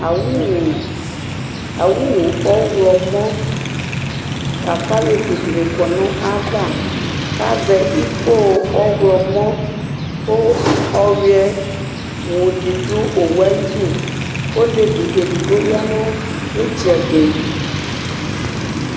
awʋʋ, awʋʋ ɔwlɔmɔ lakʋ alɛvi dini kɔnʋ ayiava kʋ azɛ ikɔ ɔwlɔmɔ kʋ ɔwiɛ wʋ di dʋ ɔwʋɛ ayidʋ kʋ ɔlɛvi ɛdigbɔ yanʋ itsɛdi